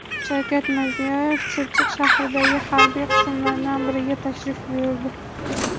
Shavkat Mirziyoyev Chirchiq shahridagi harbiy qismlardan biriga tashrif buyurdi.